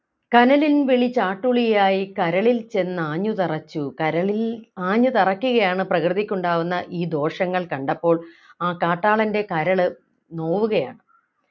കനലിൻ വിളി ചാട്ടുളിയായി കരളിൽ ചെന്നാഞ്ഞു തറച്ചു കരളിൽ ആഞ്ഞു തറക്കുകയാണ് പ്രകൃതിക്കുണ്ടാകുന്ന ഈ ദോഷങ്ങൾ കണ്ടപ്പോൾ ആ കാട്ടാളൻ്റെ കരള് നോവുകയാണ്